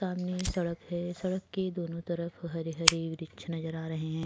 सामने सड़क है। सड़क के दोनों तरफ हरे-हरे वृक्ष नजर आ रहे है।